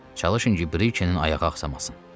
Çalışın ki, brikenin ayağı axsaması.